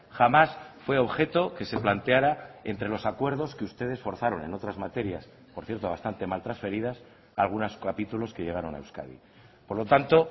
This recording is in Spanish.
jamás fue objeto que se planteara entre los acuerdos que ustedes forzaron en otras materias por cierto bastante mal transferidas algunos capítulos que llegaron a euskadi por lo tanto